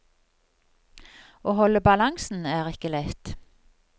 Å holde balansen er ikke lett.